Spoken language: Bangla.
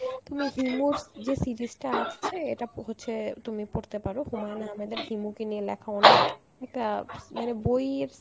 তুমি himus যে series টা আছে এটা পো~ হচ্ছে তুমি পড়তে পারো হুমায়ুন আহাম্মেদের হিমুকে নিয়ে লেখা অনেক একটা মানে বইয়ের